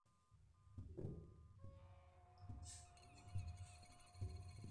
keton kigira olapa laptop aisumbua ashu ketisidana apa pi